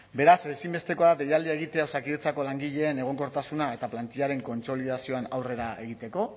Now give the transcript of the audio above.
beraz ezinbestekoa da deialdia egitea osakidetzako langileen egonkortasuna eta plantillaren kontsolidazioan aurrera egiteko